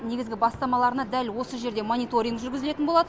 негізгі бастамаларына дәл осы жерде мониторинг жүргізілетін болады